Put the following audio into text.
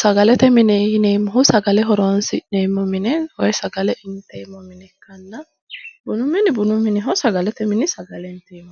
sagalete mine yineemmohu saglale horonsi'neemmo mine woyi sagale inteemmo mineetinna, bunu mini bunu miniho, sagalete mini sagaleeho.